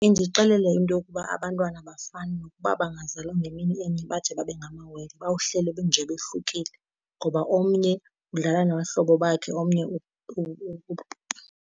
Indixelela into yokuba abantwana abafani nokuba bangazalwa ngemini enye bade babe ngamawele, nje bohlukile. Ngoba omnye udlala nabahlobo bakhe, omnye .